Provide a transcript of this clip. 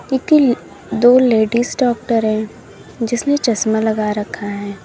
दो ladies doctor है जिसने चश्मा लगा रखा है।